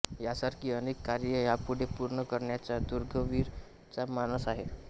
यासारखी अनेक कार्ये यापुढे पूर्ण करण्याचा दुर्गवीर चा मानस आहे